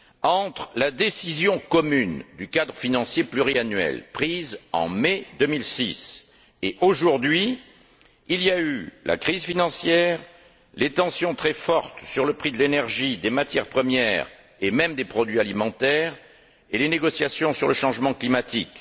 Entre la décision commune sur le cadre financier pluriannuel prise en mai 2006 et aujourd'hui, il y a eu la crise financière, les tensions très fortes sur le prix de l'énergie, des matières premières et même des produits alimentaires, et les négociations sur le changement climatique.